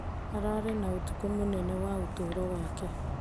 Ararĩ na ũtukũ mũnene wa ũtũro wake.